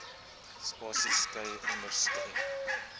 spasies skei onderskeie